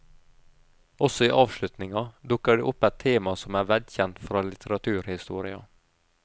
Også i avslutninga dukker det opp et tema som er velkjent fra litteraturhistoria.